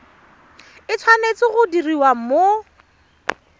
e tshwanetse go diriwa mo